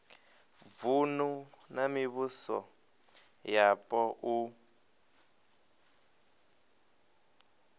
vunu na mivhuso yapo u